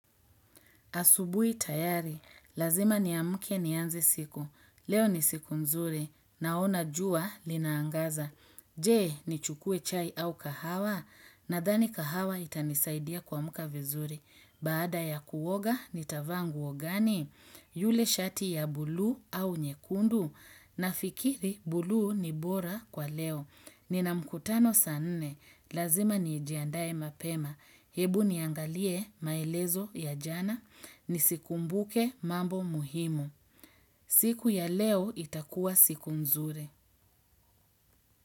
Asubui tayari. Lazima ni amuke ni anze siku. Leo ni siku nzuri. Naona jua linaangaza. Je, ni chukue chai au kahawa. Nadhani kahawa itanisaidia kuamka vizuri. Baada ya kuoga ni tavaa nguo gani. Yule shati ya buluu au nyekundu. Na fikiri buluu ni bora kwa leo. Nina mkutano saa nne, lazima ni jiandae mapema, hebu niangalie maelezo ya jana, nisikumbuke mambo muhimu. Siku ya leo itakuwa siku nzuri.